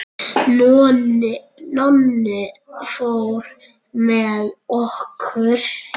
Nonni fór með okkur.